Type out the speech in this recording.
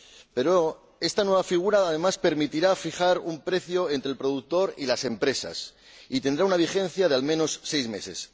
Pero esta nueva figura, además, permitirá fijar un precio entre el productor y las empresas, y tendrá una vigencia de, al menos, seis meses.